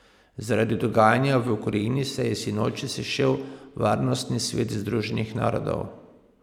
Zaradi dogajanja v Ukrajini se je sinoči sešel tudi Varnostni svet Združenih narodov.